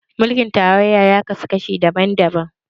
Mulkin tarayya ya kaso kashi daban-daban